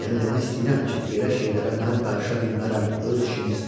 Yəni demək istəyirəm ki, belə şeylərə mən qarışa bilmərəm, öz işinizdir.